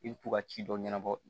I bɛ to ka ci dɔ ɲɛnabɔ